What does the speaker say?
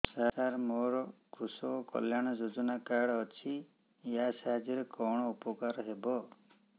ସାର ମୋର କୃଷକ କଲ୍ୟାଣ ଯୋଜନା କାର୍ଡ ଅଛି ୟା ସାହାଯ୍ୟ ରେ କଣ ଉପକାର ହେବ